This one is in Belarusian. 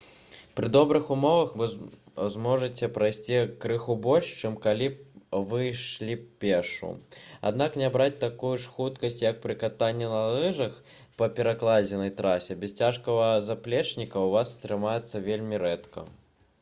пры добрых умовах вы зможаце прайсці крыху больш чым калі б вы ішлі пешшу аднак набраць такую ж хуткасць як пры катанні на лыжах па пракладзенай трасе без цяжкага заплечніка ў вас атрымаецца вельмі рэдка